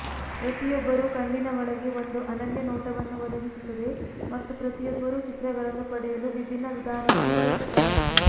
ಪ್ರತಿಯೊಬ್ಬರೂ ಕಣ್ಣಿನ ಒಳಗೆ ಒಂದು ಅನನ್ಯ ನೋಟವನ್ನು ಒದಗಿಸುತ್ತದೆ ಮತ್ತು ಪ್ರತಿಯೊಬ್ಬರೂ ಚಿತ್ರಗಳನ್ನು ಪಡೆಯಲು ವಿಭಿನ್ನ ವಿಧಾನವನ್ನು ಬಳಸುತ್ತಾರೆ